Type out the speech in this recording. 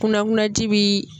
Kunankunanji bi